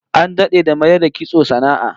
An dade da mayar da kitso sana'a